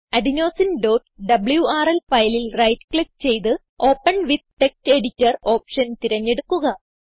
adenosineഡബ്ല്യൂആർഎൽ ഫയലിൽ right click ചെയ്ത് open with text editor option തിരഞ്ഞെടുക്കുക